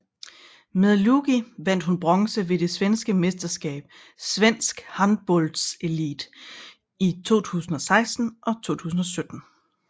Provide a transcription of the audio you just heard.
Med Lugi vandt hun bronze ved det svenske mesterskab Svensk handbollselit i 2016 og 2017